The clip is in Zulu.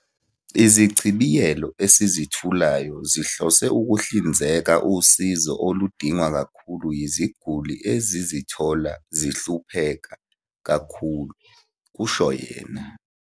"Izichibiyelo esizethulayo zihlose ukuhlinzeka usizo oludingwa kakhulu yiziguli ezizithola zihlupheka kakhulu," kusho yena